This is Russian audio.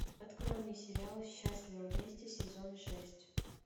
открой мне сериал счастливы вместе сезон шесть